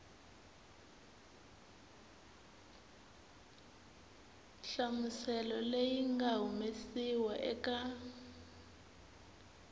nhlamuselo leyi nga humesiwa eka